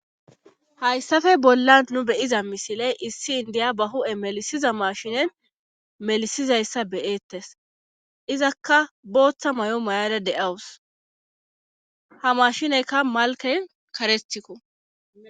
Hayssafe bollan nu beyiza misiley issi indiya ba hu7e melisiza mashinen melisizayssa beyeettes izakka booththa may7o mayada de7awus ha mashineykka malken karetikko